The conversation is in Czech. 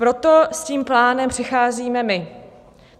Proto s tím plánem přicházíme my.